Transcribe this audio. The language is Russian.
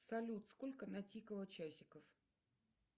салют сколько натикало часиков